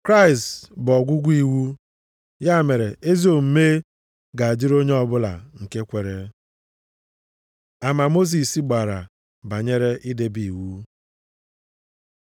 Kraịst bụ ọgwụgwụ iwu. Ya mere, ezi omume ga-adịrị onye ọbụla nke kwere. Ama Mosis gbara banyere idebe iwu